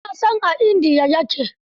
Eh na san a India ya ke.